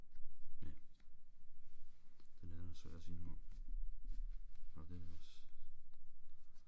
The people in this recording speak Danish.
Ja. Den her den er svær at sige noget om. Og den også